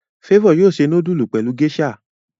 Favour yóò se nudulu pẹlú geisha.